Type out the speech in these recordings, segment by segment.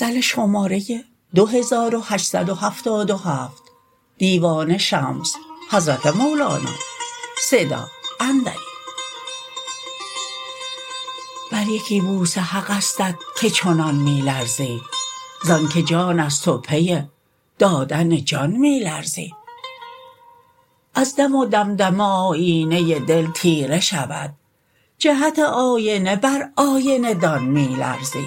بر یکی بوسه حقستت که چنان می لرزی ز آنک جان است و پی دادن جان می لرزی از دم و دمدمه آیینه دل تیره شود جهت آینه بر آینه دان می لرزی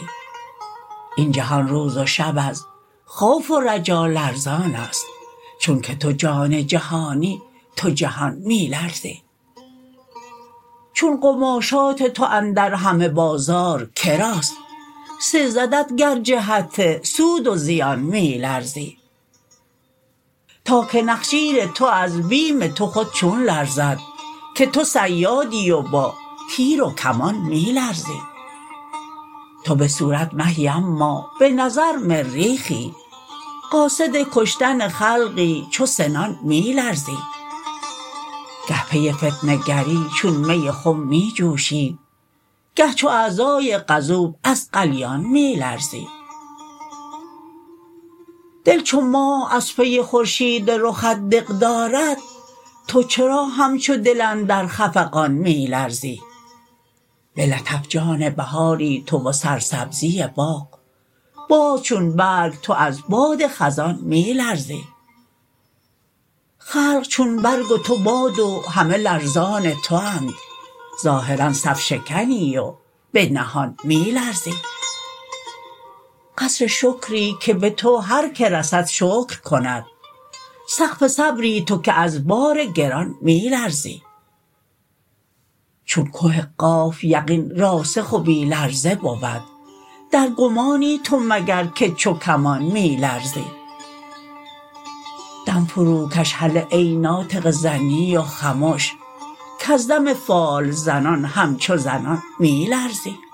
این جهان روز و شب از خوف و رجا لرزان است چونک تو جان جهانی تو جهان می لرزی چون قماشات تو اندر همه بازار که راست سزدت گر جهت سود و زیان می لرزی تا که نخجیر تو از بیم تو خود چون لرزد که تو صیادی و با تیر و کمان می لرزی تو به صورت مهی اما به نظر مریخی قاصد کشتن خلقی چو سنان می لرزی گه پی فتنه گری چون می خم می جوشی گه چو اعضای غضوب از غلیان می لرزی دل چو ماه از پی خورشید رخت دق دارد تو چرا همچو دل اندر خفقان می لرزی به لطف جان بهاری تو و سرسبزی باغ باز چون برگ تو از باد خزان می لرزی خلق چون برگ و تو باد و همه لرزان تواند ظاهرا صف شکنی و به نهان می لرزی قصر شکری که به تو هر کی رسد شکر کند سقف صبری تو که از بار گران می لرزی چون که قاف یقین راسخ و بی لرزه بود در گمانی تو مگر که چو کمان می لرزی دم فروکش هله ای ناطق ظنی و خمش کز دم فال زنان همچو زنان می لرزی